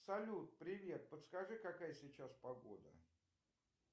салют привет подскажи какая сейчас погода